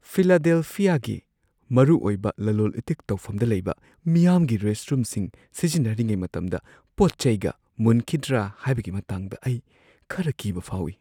ꯐꯤꯂꯗꯦꯜꯐꯤꯌꯥꯒꯤ ꯃꯔꯨꯑꯣꯏꯕ ꯂꯂꯣꯟ-ꯏꯇꯤꯛ ꯇꯧꯐꯝꯗ ꯂꯩꯕ ꯃꯤꯌꯥꯝꯒꯤ ꯔꯦꯁꯠꯔꯨꯝꯁꯤꯡ ꯁꯤꯖꯤꯟꯅꯔꯤꯉꯩ ꯃꯇꯝꯗ ꯄꯣꯠ-ꯆꯩꯒ ꯃꯨꯟꯈꯤꯗ꯭ꯔꯥ ꯍꯥꯏꯕꯒꯤ ꯃꯇꯥꯡꯗ ꯑꯩ ꯈꯔ ꯀꯤꯕ ꯐꯥꯎꯋꯤ ꯫